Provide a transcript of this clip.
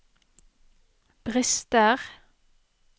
brister